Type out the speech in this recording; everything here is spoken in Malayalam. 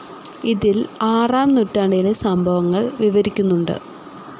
ഇതിൽ ആറാം നൂറ്റാണ്ടിലെ സംഭവങ്ങൾ വിവരിക്കുന്നുണ്ട്.